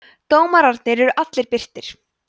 dómarnir eru allir birtir